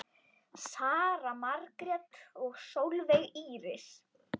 Sara Margrét og Sólveig Íris.